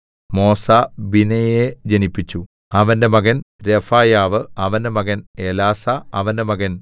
മോസ ബിനെയയെ ജനിപ്പിച്ചു അവന്റെ മകൻ രെഫയാവു അവന്റെ മകൻ എലാസാ അവന്റെ മകൻ ആസേൽ